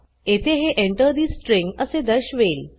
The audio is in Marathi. येथे हे Enter ठे स्ट्रिंग असे दर्शवेल